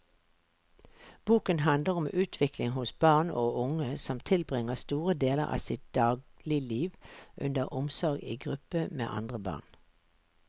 Boken handler om utvikling hos barn og unge som tilbringer store deler av sitt dagligliv under omsorg i gruppe med andre barn.